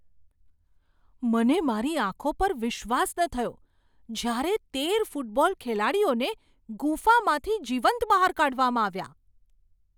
મને મારી આંખો પર વિશ્વાસ ન થયો જ્યારે તેર ફૂટબોલ ખેલાડીઓને ગુફામાંથી જીવંત બહાર કાઢવામાં આવ્યા.